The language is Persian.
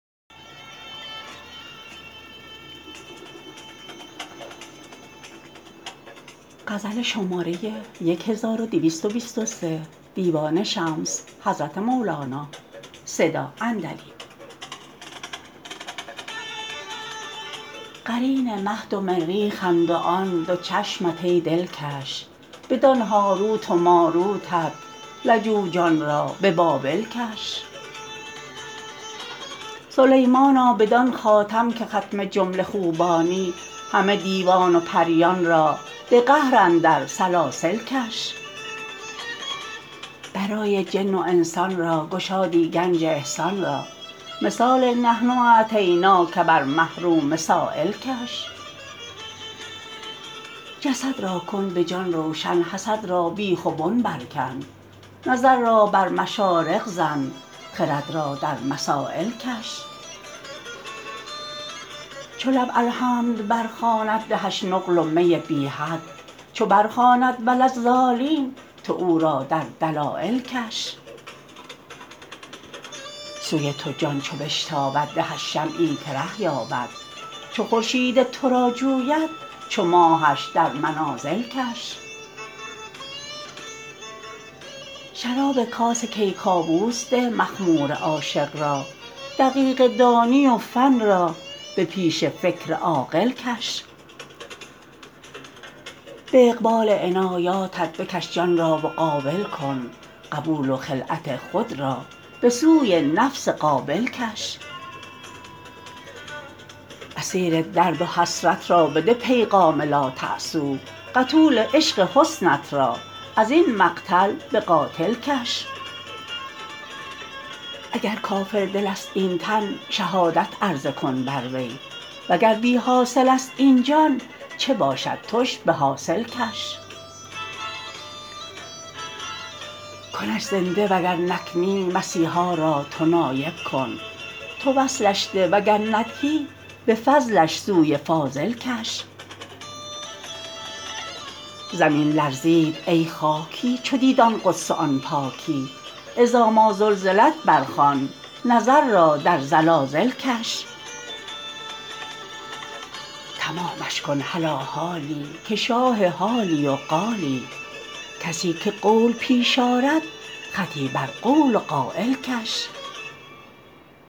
قرین مه دو مریخند و آن دو چشمت ای دلکش بدان هاروت و ماروتت لجوجان را به بابل کش سلیمانا بدان خاتم که ختم جمله خوبانی همه دیوان و پریان را به قهر اندر سلاسل کش برای جن و انسان را گشادی گنج احسان را مثال نحن اعطیناک بر محروم سایل کش جسد را کن به جان روشن حسد را بیخ و بن برکن نظر را بر مشارق زن خرد را در مسایل کش چو لب الحمد برخواند دهش نقل و می بی حد چو برخواند و لا الضالین تو او را در دلایل کش سوی تو جان چو بشتابد دهش شمعی که ره یابد چو خورشید تو را جوید چو ماهش در منازل کش شراب کاس کیکاووس ده مخمور عاشق را دقیقه دانی و فن را به پیش فکر عاقل کش به اقبال عنایاتت بکش جان را و قابل کن قبول و خلعت خود را به سوی نفس قابل کش اسیر درد و حسرت را بده پیغام لاتأسوا قتول عشق حسنت را از این مقتل به قاتل کش اگر کافردلست این تن شهادت عرضه کن بر وی وگر بی حاصلست این جان چه باشد توش به حاصل کش کنش زنده وگر نکنی مسیحا را تو نایب کن تو وصلش ده وگر ندهی به فضلش سوی فاضل کش زمین لرزید ای خاکی چو دید آن قدس و آن پاکی اذا ما زلزلت برخوان نظر را در زلازل کش تمامش کن هلا حالی که شاه حالی و قالی کسی که قول پیش آرد خطی بر قول و قایل کش